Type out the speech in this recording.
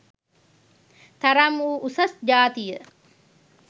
තරම් වූ උසස් ජාතිය